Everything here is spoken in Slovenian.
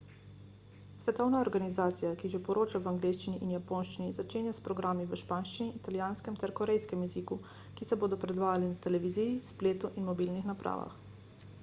svetovna organizacija ki že poroča v angleščini in japonščini začenja s programi v španskem italijanskem ter korejskem jeziku ki se bodo predvajali na televiziji spletu in mobilnih napravah